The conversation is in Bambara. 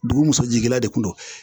Dugu muso jigin de kun don